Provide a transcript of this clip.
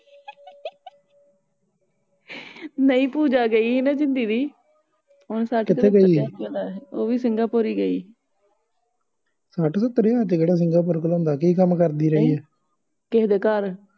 ਨਹੀਂ ਪੂਜਾ ਗਈ ਹੀ ਨਾ ਜਿੰਦੀ ਦੀ ਕਿਥੇ ਗਈ ਉਹਵੀ ਸਿੰਗਾਪੁਰ ਈ ਗਈ ਸੱਠ ਸੱਤਰ ਹਜਾਰ ਚ ਕਿਹੜਾ ਸਿੰਗਾਪੁਰ ਕਲੌਂਦਾ ਕਿ ਕੰਮ ਕਰਦੀ ਰਹੀ ਆ